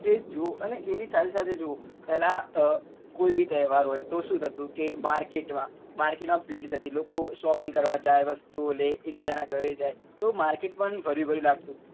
એ જ જોવો અને એની સાથે સાથે એ જોવો પેલા અ કોઈ બી તહેવાર હોય તો શું થતું કે market માં market માં ભીડ થતી લોકો shopping કરવા જાય વસ્તુઓ લે એક બીજા ના ઘરે જાય તો market પણ ભર્યું ભર્યુ લાગતું પણ